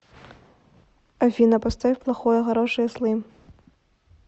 афина поставь плохое хорошее слим